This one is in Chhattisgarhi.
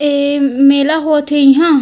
ए मेला होत हे इहा--